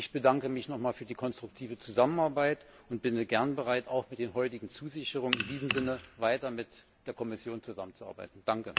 Ich bedanke mich noch einmal für die konstruktive Zusammenarbeit und bin gerne bereit, auch mit den heutigen Zusicherungen in diesem Sinne weiter mit der Kommission zusammenzuarbeiten.